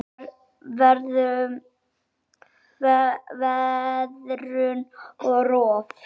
Veðrun og rof